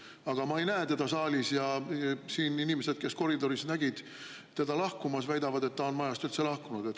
Aga ma ei näe teda saalis ja siin inimesed, kes koridoris nägid teda lahkumas, väidavad, et ta on majast üldse lahkunud.